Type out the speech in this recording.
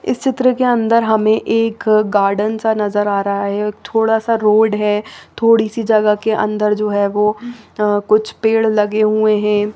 इस चीत्र के अंदर हमने एक गार्डन सा नजर आ रहा है थोडा सा रोड है थोड़ी सी जगह के अंदर जो है कुच्छ पेड़ लगे हुए है।